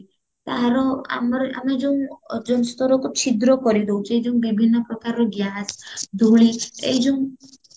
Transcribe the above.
ତାହାର ଆମର ଆମେ ଯୋଉ ଅଜନ୍ତରକ ଛିଦ୍ର କରିଦଉଚେ ଯୋଉ ବିଭିନ୍ନ ପ୍ରକାରର gas ଧୁଳି ଏଇ ଯୋଉ